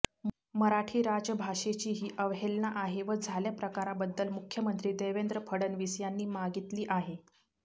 मराठी राजभाषेची ही अवहेलना आहे व झाल्या प्रकाराबद्दल मुख्यमंत्री देवेंद्र फडणवीस यांनी मागितली आहे